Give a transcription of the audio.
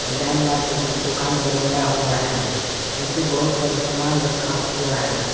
Design मार के दो दुकान बनाया हुआ है नीचे बहुत सारे सामान रखा हुआ है।